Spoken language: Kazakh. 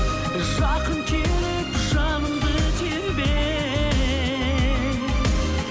жақын келіп жанымды тербе